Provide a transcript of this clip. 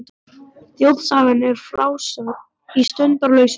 Þjóðsagan er frásögn í sundurlausu máli.